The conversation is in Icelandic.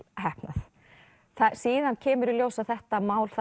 heppnað síðan kemur í ljós að þetta mál